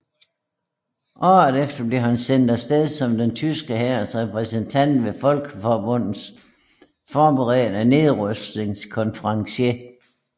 Året efter blev han sendt afsted som den tyske hærs repræsentant ved Folkeforbundets forberedende nedrustningskonference